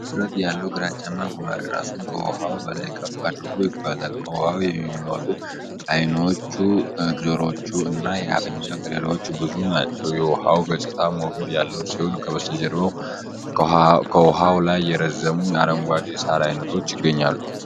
ውፍረት ያለው ግራጫማ ጉማሬ ራሱን ከውሃው በላይ ከፍ አድርጎ ይጓዛል። ከውኃው የሚወጡት ዓይኖቹ፣ ጆሮዎቹ እና የአፍንጫ ቀዳዳዎቹ ብቻ ናቸው። የውኃው ገጽታ ሞገድ ያለው ሲሆን ከበስተጀርባው ከውኃው ላይ የረዘሙ አረንጓዴ የሳር አይነቶች ይገኛሉ።